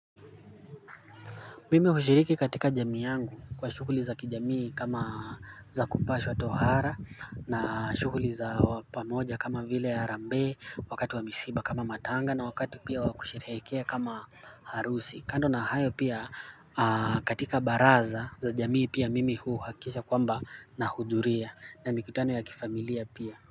Mimi hushiriki katika jamii yangu kwa shughuli za kijamii kama za kupashwa tohara na shughuli za pamoja kama vile ya harambee wakati wa misiba kama matanga na wakati pia wa kusherehekea kama harusi. Kando na hayo pia katika baraza za jamii pia mimi huhakikisha kwamba nahudhuria na mikutano ya kifamilia pia.